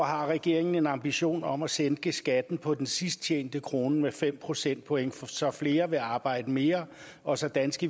har regeringen en ambition om at sænke skatten på den sidst tjente krone med fem procentpoint så flere vil arbejde mere og så danske